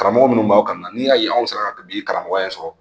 Karamɔgɔ minnu b'aw kalan na n'i y'a y'aw sera ka karamɔgɔya in sɔrɔ